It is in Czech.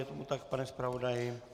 Je tomu tak, pane zpravodaji?